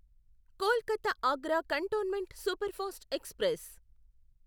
Kolkata Agra cantonment superfast express